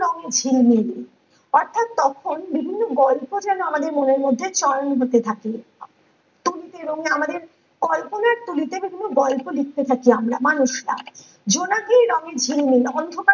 রং ঝিলমিল অর্থাৎ তখন বিভিন্ন গল্প যেন আমাদের মনে মধ্যে চয়ন হতে থাকে, আমাদের কল্পনার তুলিতে তখন গল্প লিখতে থাকি আমরা মানুষ তার জোনাকির রঙে ঝিলমিল অন্ধকারে